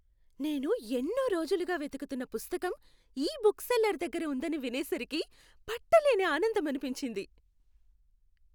నేను ఎన్నో రోజులుగా వెతుకుతున్న పుస్తకం ఈ బుక్ సెల్లర్ దగ్గర ఉందని వినేసరికి పట్టలేని ఆనందమనిపించింది!